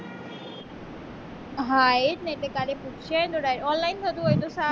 હા એ જ ને એટલે કાલે પુચ્યાવીએ ને તો online થતું હોય તો સારું